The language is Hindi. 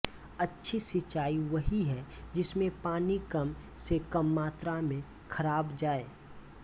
अच्छी सिंचाई वही है जिसमें पानी कम से कम मात्रा में खराब जाए